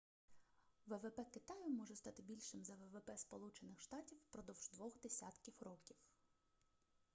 ввп китаю може стати більшим за ввп сполучених штатів впродовж двох десятків років